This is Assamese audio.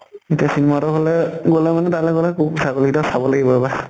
এতিয়া চিন্ময়ী হতৰ ঘৰলে গলে মানে তালৈ গলে কুকুৰ ছাগলী গিতাক চাব লাগিব ৰবা।